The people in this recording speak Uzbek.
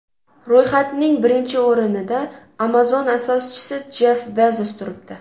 Ro‘yxatning birinchi o‘rinida Amazon asoschisi Jeff Bezos turibdi .